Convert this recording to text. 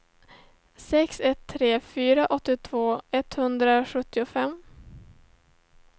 sex ett tre fyra åttiotvå etthundrasjuttiofem